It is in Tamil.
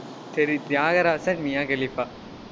சரி, தியாகராஜன் மியா கலீஃபா